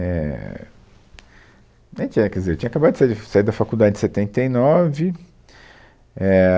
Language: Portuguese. Éh, dai tinha, quer dizer, eu tinha acabado de sair, saí da faculdade em setenta e nove, é